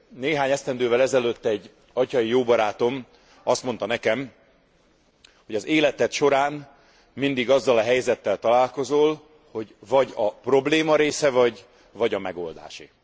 Néhány esztendővel ezelőtt egy atyai jó barátom azt mondta nekem, hogy az életed során mindig azzal a helyzettel találkozol, hogy vagy a probléma része vagy, vagy a megoldásé.